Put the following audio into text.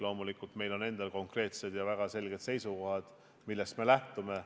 Loomulikult on meil endal konkreetsed ja väga selged seisukohad, millest me lähtume.